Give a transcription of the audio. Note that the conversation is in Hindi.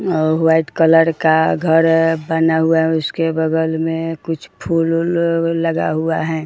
और व्हाइट कलर का घर बना हुआ है उसके बगल में कुछ फूल उल लगा हुआ है।